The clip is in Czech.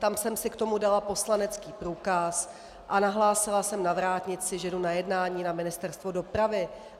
Tam jsem si k tomu dala poslanecký průkaz a nahlásila jsem na vrátnici, že jdu na jednání na Ministerstvo dopravy.